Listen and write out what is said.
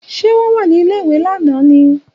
Ṣé wọ́n wà ní ilé-ìwé lánàá ni?